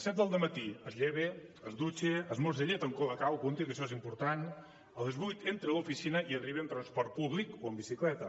set del dematí es lleva es dutxa esmorza llet amb cola cao apunti que això és important a les vuit entra a l’oficina hi arriba en transport públic o amb bicicleta